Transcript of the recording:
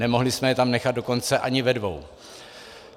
Nemohli jsme je tam nechat dokonce ani ve dvou.